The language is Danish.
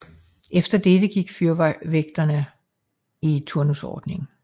Efter dette gik fyrvagterne i turnusordning